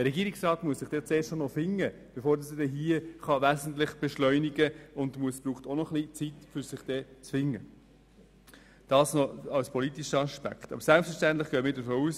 Der Regierungsrat muss sich in der neuen Zusammensetzung zuerst finden, bevor er wesentlich beschleunigen kann.